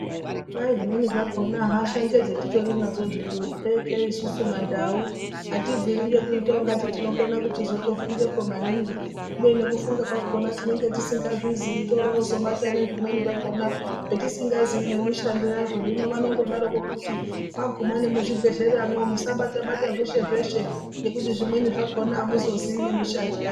Kwai zvimweni zvakona hasha ngedzetetitori nadzo hedu, pekee isusu mandau atibviri ngekuita ungati tinokone kuchizotofungepo maningi kubeni nekufunga kwakona tinenge tisingazviziyi torozobata zvimweni zvakona zvetisingazii nemishando yazvo hino vanondodarokwo kuti maguma nemuzvibhedhleramwo musabata-bata zveshe zveshe ngekuti zvimweni zvakona amuzozii nemishando yazvo.